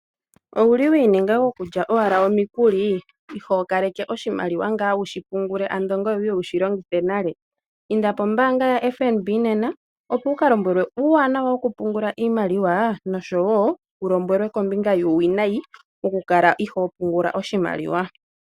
Owuli wiininga gokulya owala omikuli, ihookaleke oshimaliwa ngaa wu shi pungule ngweye wuye wu shi longithe nale, inda pombaanga ya FNB nena, opo wu ka lombwelwe uuwanawa wokupunguka oshimaliwa, noshowoo wulombwelwe uuwinayi wo ku kala ihoopungula oshimaliwa.